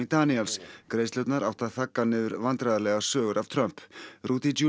Daniels greiðslurnar áttu að þagga niður vandræðalegar sögur af Trump